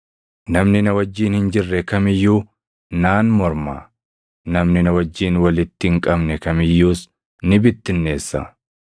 “Namni na wajjin hin jirre kam iyyuu naan morma; namni na wajjin walitti hin qabne kam iyyuus ni bittinneessa.